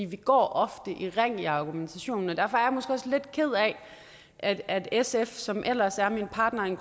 vi går ofte i ring i argumentationen derfor er jeg måske også lidt ked af at sf som ellers er min partner in